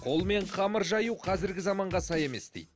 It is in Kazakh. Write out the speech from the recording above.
қолмен қамыр жаю қазіргі заманға сай емес дейді